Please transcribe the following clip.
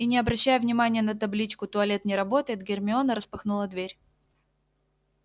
и не обращая внимания на табличку туалет не работает гермиона распахнула дверь